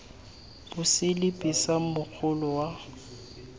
mo seliping sa mogolo wa